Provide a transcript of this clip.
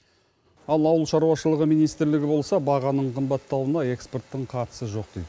ал ауыл шаруашылығы министрлігі болса бағаның қымбаттауына экспорттың қатысы жоқ дейді